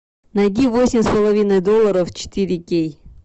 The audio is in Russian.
найди восемь с половиной долларов четыре кей